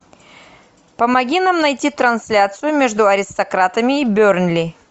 помоги нам найти трансляцию между аристократами и бернли